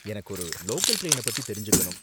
எனக்கு ஒரு லோக்கல் டிரைன பத்தி தெரிஞ்சுக்கணும்.